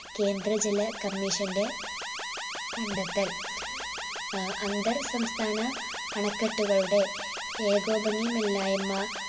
കേന്ദ്ര ജല commission ന്റെ കണ്ടെത്തൽ ഏർ അന്തർ സംസ്ഥാന അണക്കെട്ടുകളുടെ ഏകോപനീയമില്ലായ്മ